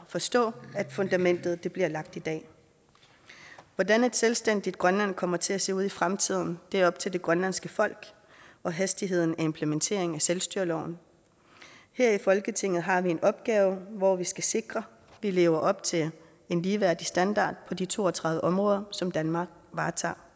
forstå at fundamentet bliver lagt i dag hvordan et selvstændigt grønland kommer til at se ud i fremtiden er op til det grønlandske folk og hastigheden af implementeringen af selvstyreloven her i folketinget har vi en opgave hvor vi skal sikre at vi lever op til en ligeværdig standard på de to og tredive områder som danmark varetager